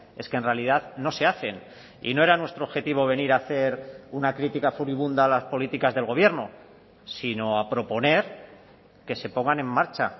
es que en realidad no se hacen y no era nuestro objetivo venir a hacer una crítica furibunda a las políticas del gobierno sino a proponer que se pongan en marcha